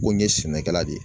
Ko n ye sɛnɛkɛla de ye